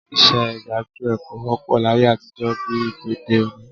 Iṣẹ́ gbájúẹ̀ kò wọ́pọ̀ láyé àtijọ́ bí i tòde òní